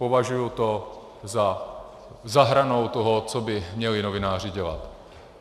Považuji to za hranou toho, co by měli novináři dělat.